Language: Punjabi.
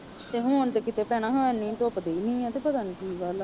ਤੇ ਹੁਣ ਤੇ ਕਿਤੇ ਭੈਣਾਂ ਹੈ ਨੀ ਸੁੱਕਦੇ ਹੀ ਨੀ ਹੈ ਤੇ ਪਤਾ ਨੀ ਕੀ ਗੱਲ ਹੈ।